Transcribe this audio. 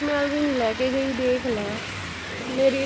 ਮਹਿਲ ਵੀ ਨੀ ਲੈ ਕੇ ਗਈ ਦੇਖ ਲੈ ਮੇਰੀ,